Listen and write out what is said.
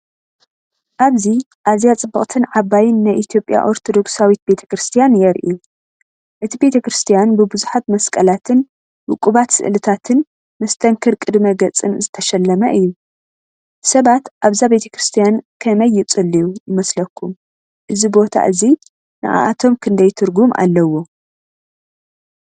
ኣብዚ ኣዝያ ጽብቕትን ዓባይን ናይ ኢትዮጵያ ኦርቶዶክሳዊት ቤተ ክርስቲያን የርኢ። እቲ ቤተክርስትያን ብብዙሓት መስቀላትን ውቁባት ስእልታትን መስተንክር ቅድመ-ገጽን ዝተሸለመ እዩ። ሰባት ኣብዛ ቤተ ክርስቲያን ከመይ ይጽልዩ ይመስለኩም እዚ ቦታ እዚ ንዓኣቶም ክንደይ ትርጉም ኣለዎ?